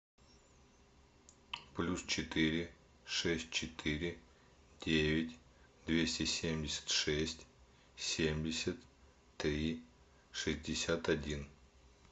плюс четыре шесть четыре девять двести семьдесят шесть семьдесят три шестьдесят один